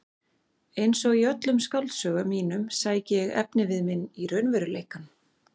Einsog í öllum skáldsögum mínum sæki ég efnivið minn í raunveruleikann.